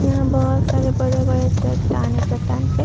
यहाँ बहोत सारे बड़े-बड़े चट्टान हैं। चट्टान पर --